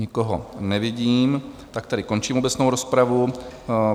Nikoho nevidím, tak tedy končím obecnou rozpravu.